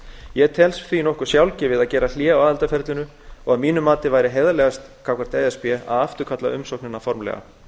ég tel því nokkuð sjálfgefið að gera hlé á aðildarferlinu og að mínu mati væri heiðarlegast gagnvart e s b að afturkalla umsóknina formlega